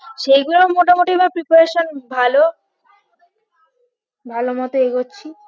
সেগুলোর মোটামোটি আমার preparation ভালো ভালো মত এগোচ্ছি